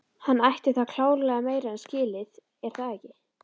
Hann ætti það klárlega meira en skilið er það ekki?